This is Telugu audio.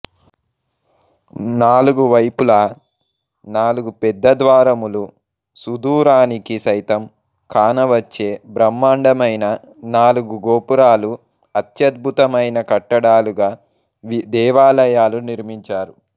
నాలుగు వైపులా నాలుగు పెద్ద ద్వారములు సుదూరానికి సైతం కానవచ్చే బ్రహ్మాండమైన నాలుగు గోపురాలుఅత్యద్భుతమైన కట్టడాలుగా దేవాలయాలు నిర్మించారు